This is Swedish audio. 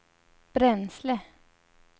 bränsle